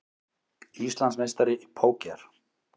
Íslandsmeistari í póker